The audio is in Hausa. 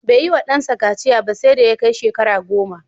Bai yiwa ɗansa kaciya ba sai da ya kai shekara goma.